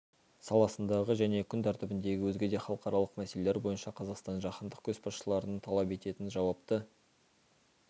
саласындағы және күн тәртібіндегі өзге де халықаралық мәселелер бойынша қазақстанның жаһандық көшбасшылығын талап ететін жауапты